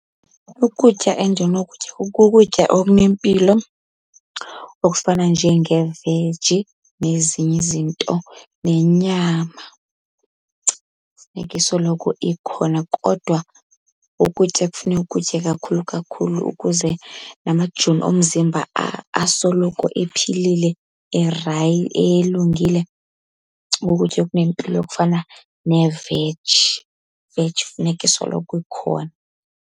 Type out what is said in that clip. Ukutya endinokutya kukutya okunempilo okufana njengeveji nezinye izinto. Nenyama funeka isoloko ikhona kodwa ukutya ekufuneka ukutye kakhulu kakhulu ukuze namajoni omzimba asoloko ephilile elungile, kukutya okunempilo okufana neveji, iveji funeka isoloko ikhona.